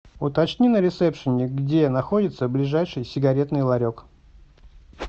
уточни на ресепшене где находится ближайший сигаретный ларек